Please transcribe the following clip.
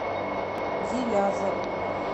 гилязову